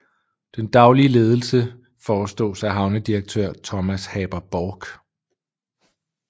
Den daglige ledelse forestås af havnedirektør Thomas Haber Borch